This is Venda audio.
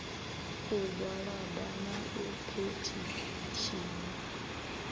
u gwalaba na u phethishina